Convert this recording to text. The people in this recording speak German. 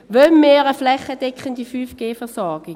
Wollen wir eine flächendeckende 5G-Versorgung?